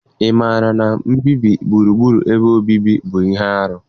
Ị maara na mbibi gburugburu ebe obibi bụ ihe arụ?